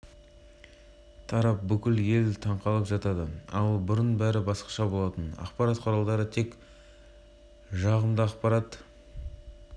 жылдығына байланысты рақымшылық жасау туралы заңының жобасы бойынша баяндама жасаған бас прокуроры жақып асанов мәлімдеді